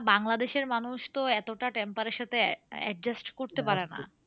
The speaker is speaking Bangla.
বাংলাদেশের মানুষ তো এতটা temper এর সাথে a adjust করতে